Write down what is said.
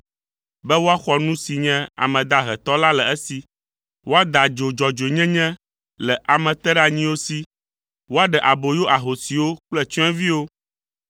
be woaxɔ nu si nye ame dahe tɔ la le esi, woada adzo dzɔdzɔenyenye le ame teɖeanyiwo si, woaɖe aboyo ahosiwo kple tsyɔ̃eviwo.